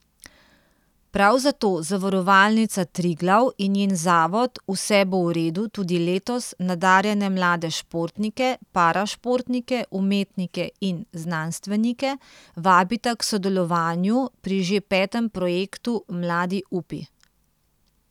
Prav zato Zavarovalnica Triglav in njen zavod Vse bo v redu tudi letos nadarjene mlade športnike, parašportnike, umetnike in znanstvenike vabita k sodelovanju pri že petem projektu Mladi upi!